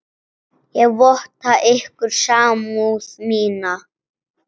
Ég votta ykkur samúð mína.